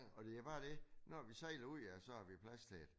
Og det bare dét når vi sejler ud af så har vi plads til det